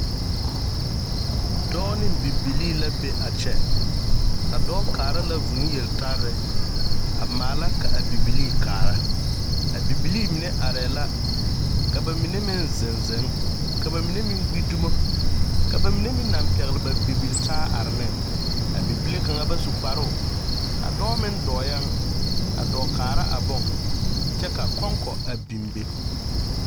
Dɔɔ neŋ bibilii la be a kyɛ. A dɔɔ kaara la vũũ yeltarre. A maala ka a bibilii kaara. A bibilii mine arɛɛ la, ka ba mine meŋ zeŋ zeŋ, ka ba mine meŋ gbi dumo, ka ba mine meŋ naŋ pɛgle ba bibiltaa are neŋ. A bibile kaŋ bas u kpaaroo. A dɔɔ meŋ dɔɔyɛŋ. A dɔɔ kaara a boŋ. Kyɛ ka kɔŋkɔ a biŋ be.